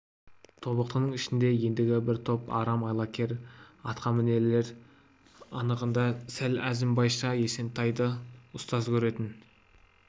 тобықтының ішінде ендігі бір топ арам айлакер атқамінерлер анығында сол әзімбайша есентайды ұстаз көретін